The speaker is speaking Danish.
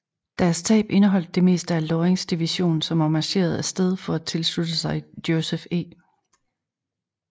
Deres tab indeholdt det meste af Lorings division som var marcheret af sted for at tilslutte sig Joseph E